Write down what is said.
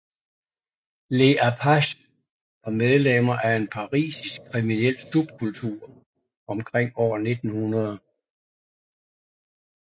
Les apaches var medlemmer af en parisisk kriminel subkultur omkring år 1900